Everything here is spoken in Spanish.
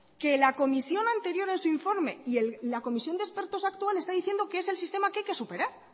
que la comisión anterior en su informe y la comisión de expertos actual está diciendo que es el sistema que hay que superar